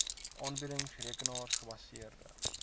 aanbiedings rekenaar gebaseerde